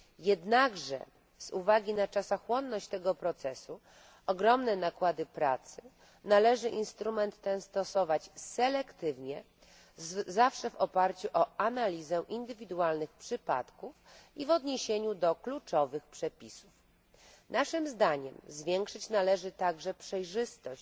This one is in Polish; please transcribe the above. Jednakże z uwagi na czasochłonność tego procesu i ogromne nakłady pracy należy instrument ten stosować selektywnie, zawsze w oparciu o analizę indywidualnych przypadków i w odniesieniu do kluczowych przepisów. Naszym zdaniem zwiększyć należy także przejrzystość